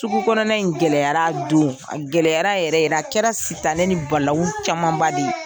Sugu kɔnɔna in gɛlɛyara a don, a gɛlɛyara yɛrɛ yɛrɛ, a kɛra sitanɛ ni balawu camanba de ye.